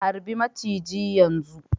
harbi maciji yanzu